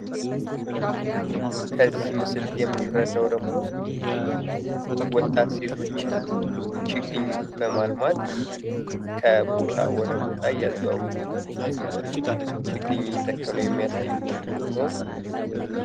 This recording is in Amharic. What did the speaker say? ከዚህ ምስል የምንረዳው ደግሞ ወጣት ሴቶች ችግኝ በማልማት ከቦታ ወደ ቦታ እያዘዋወሩ ችግኝ እየተከሉ የሚያሳይ ፎቶ ነው።